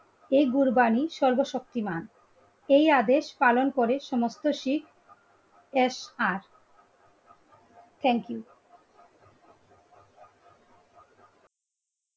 এই কুরবানী সর্বশক্তিমান এই আদেশ পালন করে সমস্ত শীত SR thank you